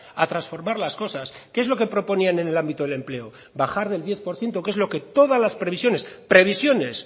a transformar las cosas qué es lo que proponían en el ámbito del empleo bajar del diez por ciento que es lo que todas las previsiones previsiones